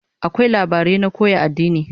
Akwai labarai na koya addini